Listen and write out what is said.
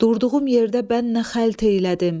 Durduğum yerdə bən nə xəlt eylədim?